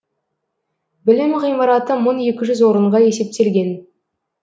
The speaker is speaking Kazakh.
білім ғимараты мың екі жүз орынға есептелген